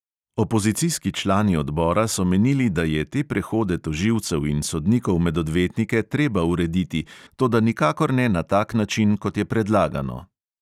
Opozicijski člani odbora so menili, da je te prehode tožilcev in sodnikov med odvetnike treba urediti, toda nikakor ne na tak način, kot je predlagano.